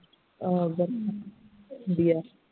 ਅ ਗਰਮੀ ਹੁੰਦੀ ਹੈ